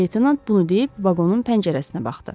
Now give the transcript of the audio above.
Leytenant bunu deyib vaqonun pəncərəsinə baxdı.